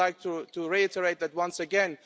I would like to reiterate that once again.